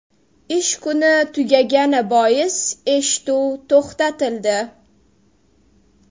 Ish kuni tugagani bois eshituv to‘xtatildi.